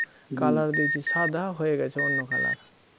colour দিয়েছি সাদা হয়ে গেল অন্য colour